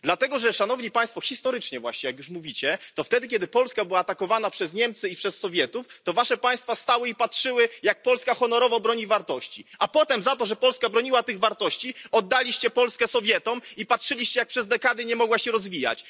Dlatego że, szanowni Państwo, historycznie właśnie jak już mówicie wtedy, kiedy Polska była atakowana przez Niemcy i przez Sowietów, to wasze państwa stały i patrzyły, jak Polska honorowo broni wartości, a potem za to, że Polska broniła tych wartości, oddaliście Polskę Sowietom i patrzyliście, jak przez dekady nie mogła się rozwijać.